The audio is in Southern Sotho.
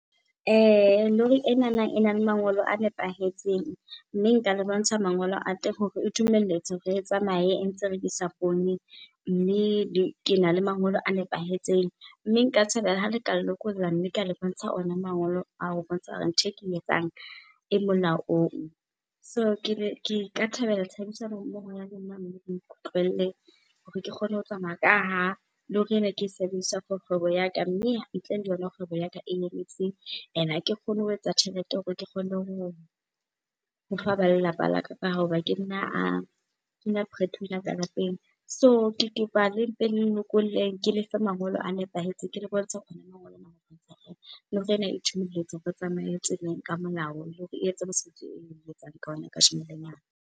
Lori enana ena le mangolo a nepahetseng mme nka le bontsha mangolo a teng hore e dumelletswe hore re e tsamaye e ntse e rekisa poone, mme ke na le mangolo a nepahetseng. Mme nka thabela ha le ka nlokolla mme ka le bontsha ona mangolo ao ho bontsha hore ntho eke e etsang e molaong. So ke ka thabela tshebedisano mmoho ya lona mme le nkutlwelle hore ke kgone ho tsamaya, ka ha lori ena ke e sebedisa for kgwebo ya ka mme ntle le yona kgwebo ya ka e and ake kgone ho etsa tjhelete hore ke kgone ho fa ba lelapa laka ka hoba ke nna a, ke nna breadwinner ka lapeng. So, ke kopa le mpe le nlokolleng ke lefe mangolo a nepahetseng, ke le bontshe lori ena e dumelletswe hore e tsamaye tseleng ka molao, le hore e etse mosebetsi oo eo etsang ka ona kasheno lena.